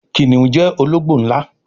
Kìnìún jẹ ológbò nlá